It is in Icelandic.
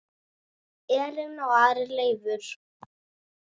Elín og Ari Leifur.